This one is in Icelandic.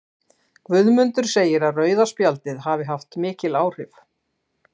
Guðmundur segir að rauða spjaldið hafi haft mikil áhrif.